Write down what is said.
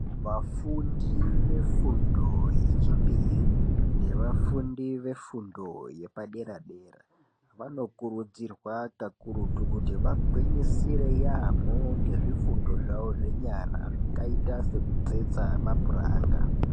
Vafundi vefundo yechipiri nevafundi vefundo yepadera-dera. Vanokutidzirwa kakurutu kuti vagwinyisire yaambo ngezvifundo zvavo zvenyara zvakaita sekutsetsa mapuranga.